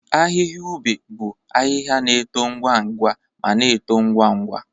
Ahịhịa ube bụ ahịhịa na-eto ngwa ngwa ma na-eto ngwa ngwa.